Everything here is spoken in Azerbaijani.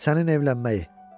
Sənin evlənməyi.